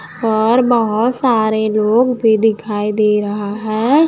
और बहोत सारे लोग भी दिखाई दे रहा है।